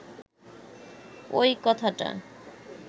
ঐ কথাটা